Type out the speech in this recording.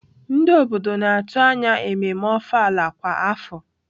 Ndị obodo na-atụ anya ememme ofala kwa afọ.